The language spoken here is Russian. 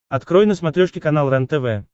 открой на смотрешке канал рентв